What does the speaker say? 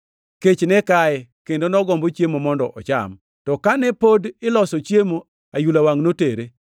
Kech ne kaye kendo nogombo chiemo mondo ocham, to kane pod iloso chiemo, ayula wangʼ notere.